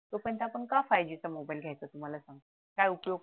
तोपर्यंत आपण का five G चा मोबाईल घ्यायचा तू मला सांग काय उपयोग